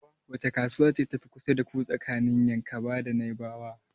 Wace kasuwa ce ta fi kusa da ku tsakanin Yankaba da Naibawa?